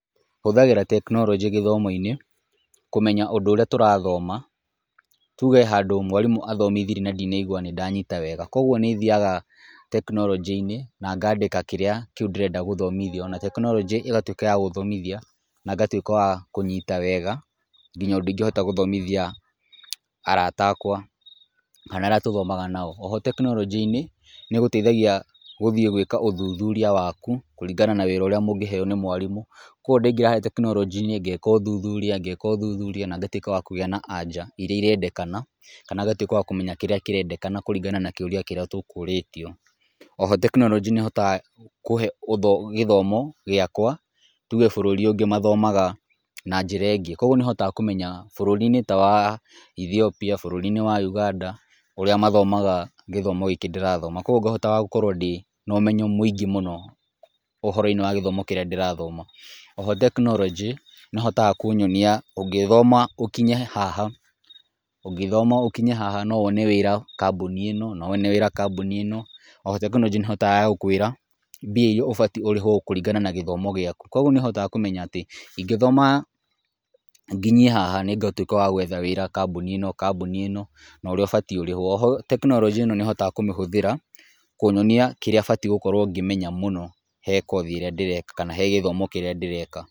Hũthagĩra teknoronjĩ gĩthimo-inĩ kũmenya ũndũ ũria tũrathoma, tuge handũ mwarimũ arathomithirĩe na ndinaigua nĩ ndanyita wega, koguo nĩ thiaga tekinoronjĩ-inĩ na ngandĩka kĩrĩa kĩu ndĩrenda gũthomithio, na tekinoronjĩ ĩgatuĩka ya gũthomithia, na ngatuĩka wa kũnyita wega nginya ũndũ ingĩhota gũthomithia arata akwa, kana arĩa tũthomaga nao. Oho tekinoronjĩ-inĩ nĩ ĩgũteithagia gũthiĩ gũĩka ũthuthuria waku kũringana na wĩra ũrĩa mũngĩheo nĩ mwarimũ. Koguo ndaingĩra harĩa tekinoronjĩ-inĩ ngeka ũthuthuria na ngatuĩka wa kũgĩa na aja irĩa irendekana kana ngatuĩka wa kũmenya kĩrĩa kĩrendekana kũringana na kĩũria kĩrĩa tũkũrĩtio. Oho tekinoronjĩ nĩ ĩhotaga kũhe gĩthomo gĩakwa tuge bũrũri ũngĩ mathomaga na njĩra ĩngĩ, koguo nĩ hotaga kũmenya bũrũri-inĩ ta wa Ethiopia, bũrũri-inĩ wa Uganda, ũrĩa mathomaga gĩthomo gĩkĩ ndĩrathoma, koguo ngahotaga gũkorwo ndĩ na ũmenyo mwĩngĩ mũno ũhoro-inĩ wa gĩthomo kĩrĩa ndĩrathoma. Oho tekinoronjĩ nĩ ĩhotaga kũnyonia ũngĩthoma ũkinye haha, no wone wĩra kambuni ĩno, no wone wĩra kambuni ĩno, oho tekinoronjĩ nĩ ĩhotaga gũkũĩra mbia iria ũbatiĩ ũrĩhwo kuringana na gĩthomo gĩaku. Kũguo nĩ ũhotaga kũmenya atĩ ingĩthoma nginyie haha nĩ ngũtuĩka wa gwetha wĩra kambuni ĩno, kambuni ĩno, na ũrĩa ũbatiĩ ũrĩhwo. Oho, tekinoronjĩ ĩno nĩ hotaga kũmĩhũthĩra kũnyonia kĩrĩa batiĩ gũkorwo ngĩmenya mũno he kothi ĩrĩa ndĩreka, kana he gĩthimo kĩrĩa ndĩreka.